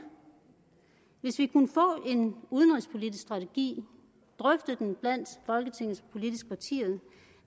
hvis vi kunne få en udenrigspolitisk strategi drøfte den blandt folketingets politiske partier